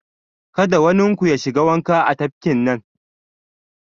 Kada wanin ku ya shiga wanka a tafkin nan!